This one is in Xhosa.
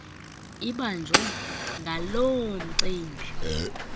ibanjwe ngaloo mcimbi